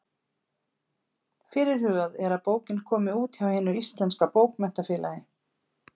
Fyrirhugað er að bókin komi út hjá Hinu íslenska bókmenntafélagi.